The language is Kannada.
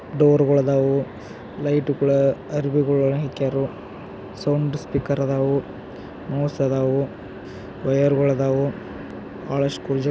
ಡೋರ್ಗಳ್ ಅದಾವು ಲೈಟ್ ಗಳ ಆರ್ಬಿ ಒಳಾಗ್ ಹಕ್ಕೇರು ಸೌಂಡ್ ಸ್ಪೀಕರ್ ಆದಾವು ಮೌಸ್ ಅದಾವು ವೈರ್ಗಳ್ ಅದಾವು. ಬಹಳಷ್ಟ್ ಕುರ್ಜಿ--